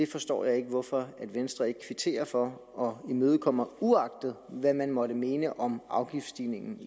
forstår jeg ikke hvorfor venstre ikke kvitterer for og imødekommer det uagtet hvad man måtte mene om afgiftsstigningen